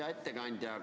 Hea ettekandja!